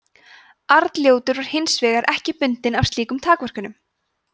arnljótur var hins vegar ekki bundinn af slíkum takmörkunum